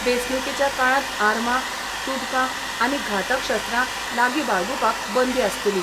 वेंचणूकेच्या काळात आर्मां, तुबकां आनी घातक शस्त्रां लागी बाळगूपाक बंदी आसतली.